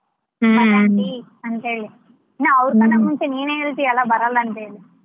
ಅಂತ ಹೇಳಿ ನಾ ಅವ್ರ ಕುಂತ ನೀನೆ ಹೇಳ್ತಿ ಅಲ್ಲ ಬರಲ್ಲ ಅಂತೇಳಿ.